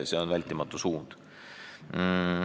See on vältimatu suund.